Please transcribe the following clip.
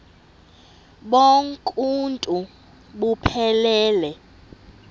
bonk uuntu buphelele